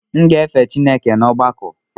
M ga na efe Chineke n’ọgbakọ.